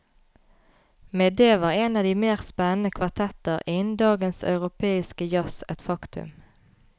Med det var en av de mer spennende kvartetter innen dagens europeiske jazz et faktum.